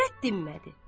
Övrət dinmədi.